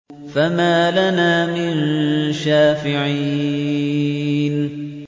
فَمَا لَنَا مِن شَافِعِينَ